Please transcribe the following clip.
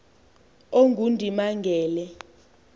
ongundimangele